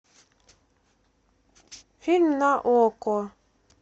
фильм на окко